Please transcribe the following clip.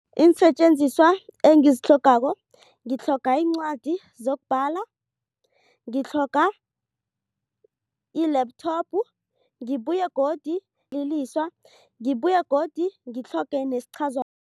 Iinsetjenziswa engizitlhogako, ngitlhoga iincwadi zokubhala, ngitlhoga i-laptop, ngibuye godu lililiswa, ngibuye godu ngitlhoge